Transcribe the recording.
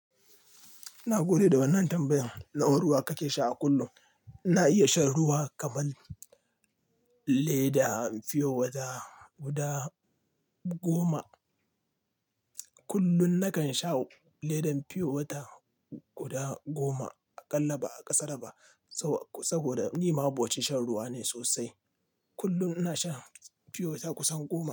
Ina gode da wannan tambayar. Nawa ruwa kake sha a kullum? Na iya shan ruwa kaman leda fiyo wata guda goma. Kullun na kan sha ledan fiyo wata guda goma. Na iya shan ruwa kaman leda fiye wata guda goma. Kullun na kan sha ledan fiye wata guda goma. Kullum ina shan fiyo wata kusan goma.